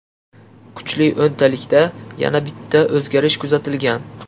Kuchli o‘ntalikda yana bitta o‘zgarish kuzatilgan.